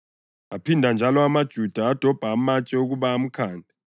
Aphinda njalo amaJuda adobha amatshe ukuba amkhande,